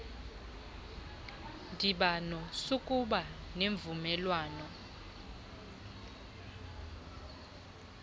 ndibano sakuba nemvumelwano